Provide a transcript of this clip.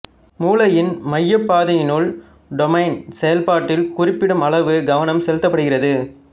மூளையின் மையைப்பாதை யினுள் டோபமைன் செயல்பாட்டில் குறிப்பிடும் அளவு கவனம் செலுத்தப்படுகிறது